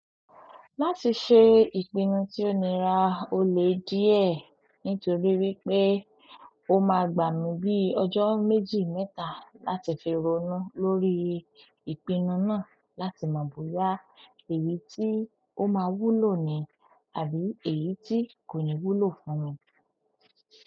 Láti ṣe ìpinnu tí ó nira ó lè díẹ̀ nítorí wípé o máa gbà mí bíi ọjọ́ méjì mẹ́ta láti fi ronú lórí ìpínu náà láti mọ̀ bóyá èyí tí ó máa wúlò ni àbí èyí tí kò ní wúlò fún mi.